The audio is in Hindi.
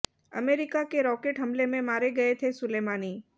अमेरिका के रॉकेट हमले में मारे गए थे सुलेमानी